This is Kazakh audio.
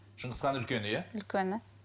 шыңғысхан үлкені иә үлкені